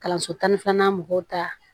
Kalanso tan ni filanan mɔgɔw ta